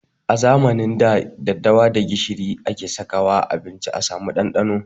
A zamanin da, daddawa da gishiri suke saka wa a abinci a samu ɗanɗano.